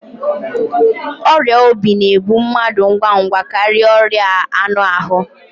ọrịa obi na-egbu mmadụ ngwa ngwa karịa ọrịa anụ ahụ